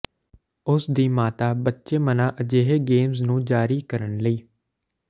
ਉਸ ਦੀ ਮਾਤਾ ਬੱਚੇ ਮਨ੍ਹਾ ਅਜਿਹੇ ਗੇਮਜ਼ ਨੂੰ ਜਾਰੀ ਕਰਨ ਲਈ